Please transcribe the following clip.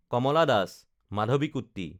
কমলা Das (মাধৱীকুট্টি)